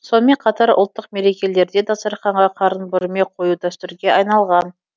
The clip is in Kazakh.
сонымен қатар ұлттық мерекелерде дастарханға қарын бүрме қою дәстүрге айналған